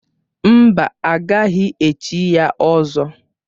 Mba, a gaghị echi ya ỌZỌ.